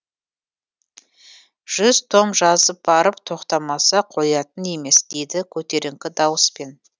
жүз том жазып барып тоқтамаса қоятын емес дейді көтеріңкі дауыспен